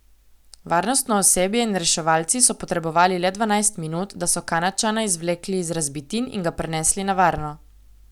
Varnostno osebje in reševalci so potrebovali le dvanajst minut, da so Kanadčana izvlekli iz razbitin in ga prenesli na varno.